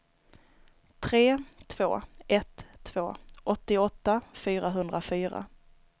tre två ett två åttioåtta fyrahundrafyra